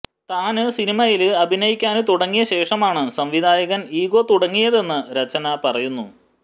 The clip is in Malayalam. താന് സിനിമയില് അഭിനയിക്കാന് തുടങ്ങിയ ശേഷമാണ് സംവിധായകന് ഈഗോ തുടങ്ങിയതെന്ന് രചന പറയുന്നു